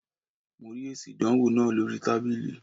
Mo rí èsì ìdánwò náà lóríi tábìlì